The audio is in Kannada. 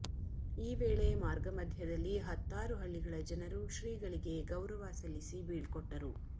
ಈ ವೇಳೆ ಮಾರ್ಗ ಮಧ್ಯದಲ್ಲಿ ಹತ್ತಾರು ಹಳ್ಳಿಗಳ ಜನರು ಶ್ರೀಗಳಿಗೆ ಗೌರವ ಸಲ್ಲಿಸಿ ಬೀಳ್ಕೊಟ್ಟರು